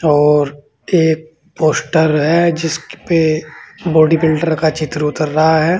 और एक पोस्टर है जिसपे बॉडी बिल्डर का चित्र उतर रहा है।